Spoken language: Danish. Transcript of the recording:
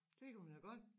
Det kunen man da godt